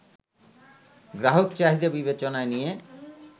গ্রাহক চাহিদা বিবেচনায় নিয়ে